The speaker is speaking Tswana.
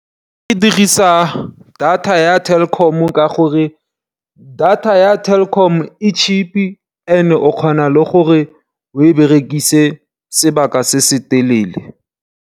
Ke dirisa data ya Telkom ka gore data ya Telkom e cheap ene o kgona le gore o e berekise sebaka se se telele.